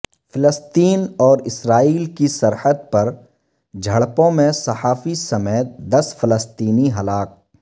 فلسطین اور اسرائیل کی سرحد پر جھڑپوں میں صحافی سمیت دس فلسطینی ہلاک